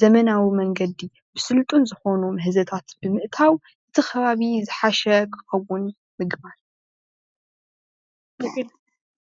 ዘመናዊ መንገዲ ብስልጡን ዝኾኑ ምህዞታት ብምእታው እቲ ኸባቢ ዝሓሸ ኽኸውን ምግባር